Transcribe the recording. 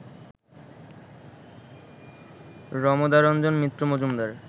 Ramadaranjan Mitra Majumdar